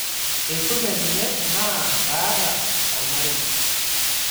Eisume ninye naa kaata olmarei